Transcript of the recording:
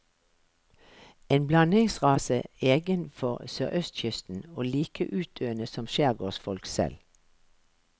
En blandingsrase egen for sørøstkysten, og like utdøende som skjærgårdsfolk selv.